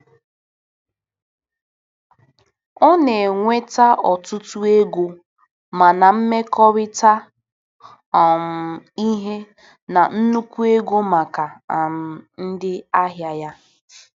Ọ na-enweta ọtụtụ ego ma na-emekọrịta um ihe na nnukwu ego maka um ndị ahịa ya.